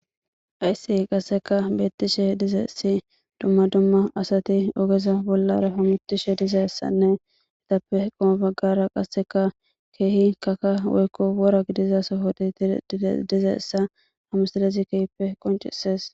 Haysi qaseka betishe dizaysi duma duma asati ogeza bolara pamitishe dizaysanne etappe qomo bagara qaseka keehi kaka woyko wora gidiza sohoti dizaysa hamisilezi kehippe qonc'ses.